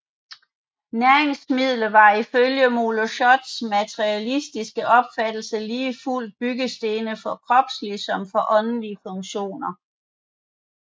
Næringsmidler var ifølge Moleschotts materialistiske opfattelse lige fuldt byggestene for kropslige som for åndelige funktioner